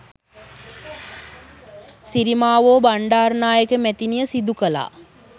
සිරිමාවෝ බණ්ඩාරනායක මැතිණිය සිදු කළා